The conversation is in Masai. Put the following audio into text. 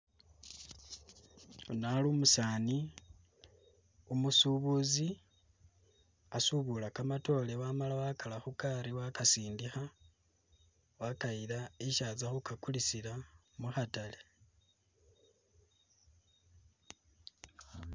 Uno ali umusaani umusubuzi asubula kamatoore wamala wakara khugaali wakasindikha wakayila isi atsya khukakulisila mukhatale